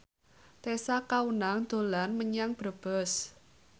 Tessa Kaunang dolan menyang Brebes